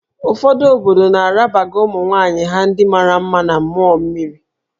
Ụfọdụ obodo na-arabaga ụmụ nwaanyị ha ndị mara mma na mmụọ mmiri